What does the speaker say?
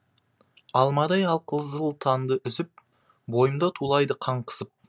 алмадай алқызыл таңды үзіп бойымда тулайды қан қысып